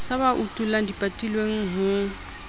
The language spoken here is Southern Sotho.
sa ba utullang dipatilweng ho